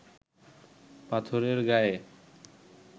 পাথরের গায়ে